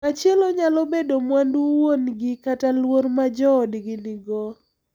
Machielo nyalo bedo mwandu wuon gi kata luor ma joodgi nigo.